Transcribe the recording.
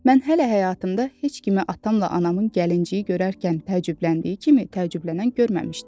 Mən hələ həyatımda heç kimi atamla anamın gəlinciyi görərkən təəccübləndiyi kimi təəccüblənən görməmişdim.